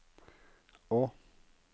å